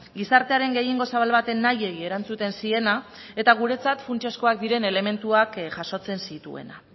gizartearen gehiengo zabal baten nahiei erantzuten ziena eta guretzat funtsezkoak diren elementuak jasotzen zituena